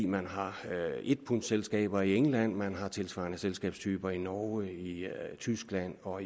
man har en pundsselskaber i england man har tilsvarende selskabstyper i norge tyskland og